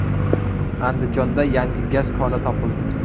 Andijonda yangi gaz koni topildi.